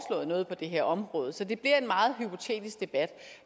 noget på det her område så det bliver en meget hypotetisk debat